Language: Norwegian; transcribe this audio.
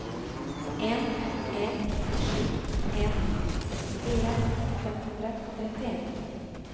en en sju en sekstifire fem hundre og trettien